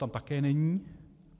Tam také není.